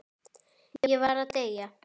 Ég var að deyja!